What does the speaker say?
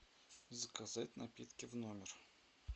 заказать напитки в номер